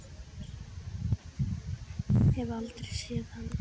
Hef aldrei séð hann.